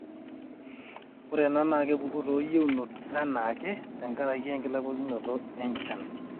ore ena naa kepuku too yieunot enaake te nkaraki enkilakuanikinoto enchan